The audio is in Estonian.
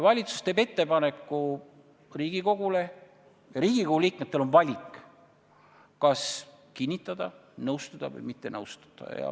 Valitsus teeb Riigikogule ettepaneku ja Riigikogu liikmetel on valida, kas kinnitada, nõustuda või mitte nõustuda.